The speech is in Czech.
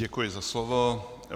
Děkuji za slovo.